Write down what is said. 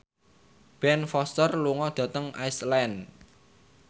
Ben Foster lunga dhateng Iceland